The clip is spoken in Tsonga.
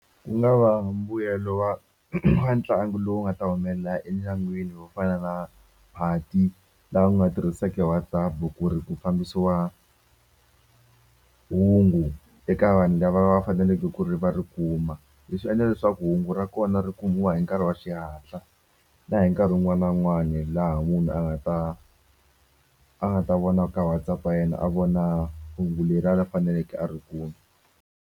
Ku nga va mbuyelo wa wa ntlangu lowu nga ta humelela endyangwini wo fana na phati la u nga tirhiseke WhatsApp ku ri ku fambisiwa hungu eka vanhu lava va faneleke ku ri va ri kuma leswi endla leswaku hungu ra kona ri kumiwa hi nkarhi wa xihatla na hi nkarhi wun'wani na wun'wani laha munhu a nga ta a nga ta vona ka WhatsApp ya yena a vona hungu faneleke a ri kule.